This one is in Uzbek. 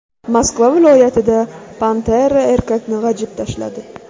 Moskva viloyatida pantera erkakni g‘ajib tashladi.